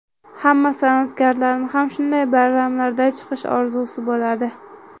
Hamma san’atkorni ham shunday bayramlarda chiqish orzusi bo‘ladi.